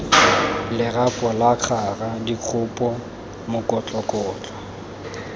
lerapo la kgara dikgopo mokokotlo